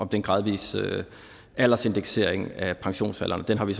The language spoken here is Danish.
den gradvise aldersindeksering af pensionsalderen den har vi